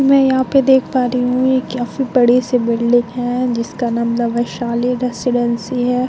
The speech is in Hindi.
मैं यहाँ पे देख पा रही हूं ये काफी बड़ी सी बिल्डिंग है जिसका नाम वैशाली रेसीडेंसी है।